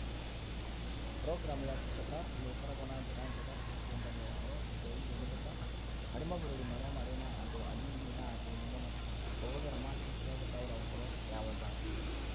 Programu ta TeacherTapp nĩ ikoragwo na njĩra njega cia kũũngania ũhoro iria ingĩhũthĩka harĩ mabũrũri marĩa marĩ na andũ anyinyi na athĩni mũno (ta kũhũthĩra macini ya gũtaũra ũhoro ya WhatsApp).